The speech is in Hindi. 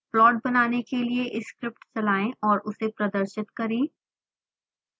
प्लॉट बनाने के लिए स्क्रिप्ट चलाएं और उसे प्रदर्शित करें